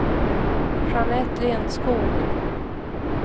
Jeanette Lindskog